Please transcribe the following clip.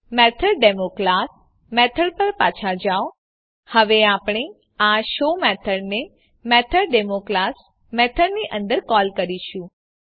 મેથોડેમો class method પર પાછા જાવ હવે આપણે આ શો મેથડને મેથોડેમો ક્લાસ મેથડની અંદર કોલ કરીશું